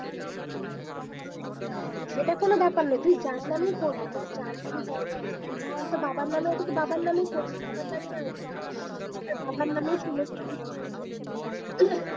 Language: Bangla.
সেটা কোন ব্যাপার না তুই যার নামেই করবি যার নামে জায়গা আছে বাবার নামে আছে তোর বাবার নামেই করবি বাবার নামই আসবে আর বাবার নামেই সমস্ত